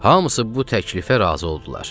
Hamısı bu təklifə razı oldular.